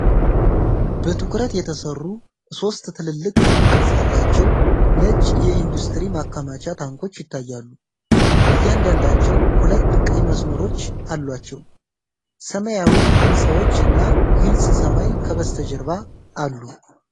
በትኩረት የተሰሩ ሶስት ትልልቅ ክብ ቅርጽ ያላቸው ነጭ የኢንዱስትሪ ማከማቻ ታንኮች ይታያሉ። እያንዳንዳቸው ሁለት ቀይ መስመሮች አሏቸው። ሰማያዊ ሕንፃዎች እና ግልጽ ሰማይ ከበስተጀርባ አሉ።